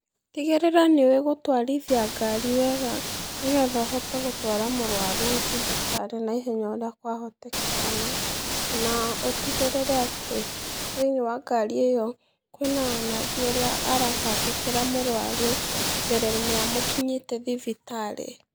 Tigĩrĩra nĩũwĩ gũtwarithia ngari wega, nĩgetha ũhote gũtwara mũrwaru thibitarĩ naihenya ũrĩa kwahotekana, na ũtigĩrĩre atĩ, thĩiniĩ wa ngari ĩyo, kwĩ na nathi ũrĩa aratangĩkĩra mũrwaru mbere-inĩ ya mũkinyĩte thibitarĩ.